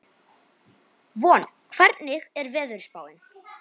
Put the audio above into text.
Von, hvernig er veðurspáin?